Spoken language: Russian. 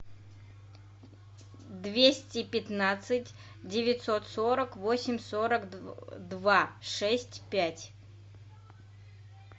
двести пятнадцать девятьсот сорок восемь сорок два шесть пять